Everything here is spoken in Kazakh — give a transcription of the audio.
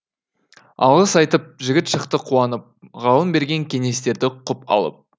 алғыс айтып жігіт шықты қуанып ғалым берген кеңестерді құп алып